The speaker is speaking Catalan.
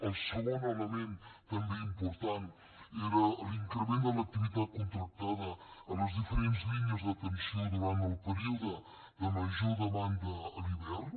el segon element també important era l’increment de l’activitat contractada a les diferents línies d’atenció durant el període de major demanda a l’hivern